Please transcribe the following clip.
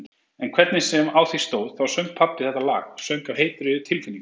En hvernig sem á því stóð þá söng pabbi þetta lag, söng af heitri tilfinningu-